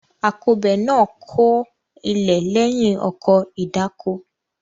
Akọbè náà kọ ilẹ̀ lẹ́yìn ọkọ̀ ìdáko.